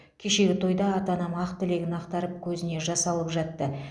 кешегі тойда ата анам ақ тілегін ақтарып көзіне жас алып жатты